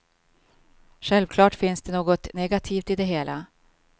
Självklart finns det något negativt i det hela.